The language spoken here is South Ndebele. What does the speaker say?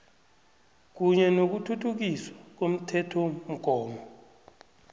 kunye nokuthuthukiswa komthethomgomo